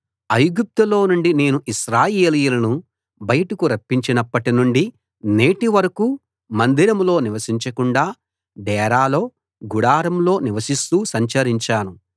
ఐగుప్తులో నుండి నేను ఇశ్రాయేలీయులను బయటకు రప్పించినప్పటి నుండి నేటి వరకూ మందిరంలో నివసించకుండా డేరాలో గుడారంలో నివసిస్తూ సంచరించాను